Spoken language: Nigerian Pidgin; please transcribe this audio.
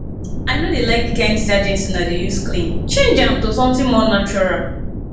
i no dey like the kin detergent una dey use clean change am to something more natural